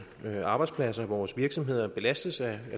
arbejdspladser vores virksomheder belastes af